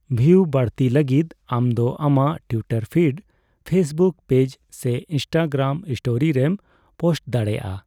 ᱵᱷᱤᱭᱩ ᱵᱹᱟᱲᱛᱤᱭ ᱞᱟᱹᱜᱤᱫ ᱟᱢᱫᱚ ᱟᱢᱟᱜ ᱴᱩᱭᱴᱟᱨ ᱯᱷᱤᱰ, ᱯᱷᱮᱥᱵᱩᱠ ᱯᱮᱡᱽ ᱥᱮ ᱤᱱᱥᱴᱟᱜᱨᱟᱢ ᱥᱴᱳᱨᱤ ᱨᱮᱢ ᱯᱳᱥᱴ ᱫᱟᱲᱮᱭᱟᱜᱼᱟ ᱾